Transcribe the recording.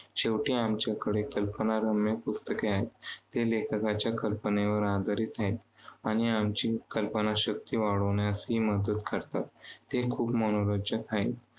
शेवटी आमच्याकडे कल्पनारम्य पुस्तके आहेत. ते लेखकाच्या कल्पनेवर आधारित आहेत. आणि आमची कल्पनाशक्ती वाढवण्यासही मदत करतात. ते खूप मनोरंजक आहे.